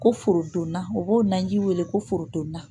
Ko forodonna u b'o naji weele ko forodonna